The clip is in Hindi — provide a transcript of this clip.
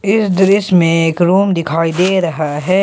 इस दृश्य में एक रूम दिखाई दे रहा है।